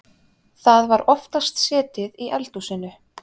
Það var oftast setið í eldhúsinu.